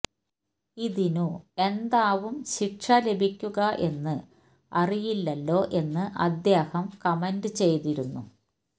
ഇതിനു എന്താവും ശിക്ഷ ലഭിക്കുക എന്ന് അറിയില്ലല്ലോ എന്ന് അദ്ദേഹം കമന്റ് ചെയ്തിരുന്നു